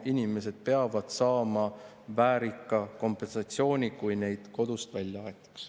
Inimesed peavad saama väärika kompensatsiooni, kui nad kodust välja aetakse.